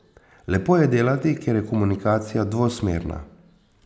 Lepo je delati, ker je komunikacija dvosmerna.